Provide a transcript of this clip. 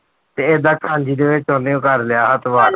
ਤੇ ਏਦਾਂ ਕਰ ਲਿਆ ਹੱਥ ਬਾਹਰ